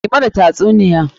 Ki mana tasuniya!